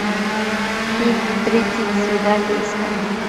фильм тридцать свиданий искать